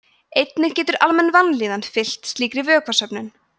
einnig getur almenn vanlíðan fylgt slíkri vökvasöfnun